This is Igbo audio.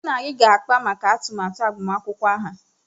Mụ na gị ga-akpa maka atụmatụ agbamakwụkwọ aha.